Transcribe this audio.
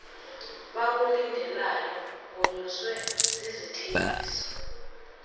bakulindeleyo wonyuswe zizithembiso